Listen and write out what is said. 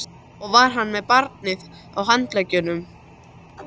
Og var hann með barnið á handleggnum?